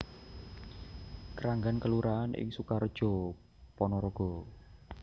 Kranggan kelurahan ing Sukareja Panaraga